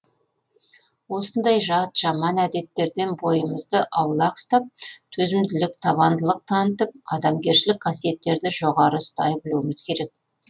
осындай жат жаман әдеттерден бойымызды аулақ ұстап төзімділік табандылық танытып адамгершілік қасиеттерді жоғары ұстай білуіміз керек